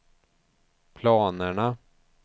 planerna